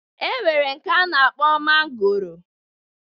E nwere nke a na-akpọ mangoro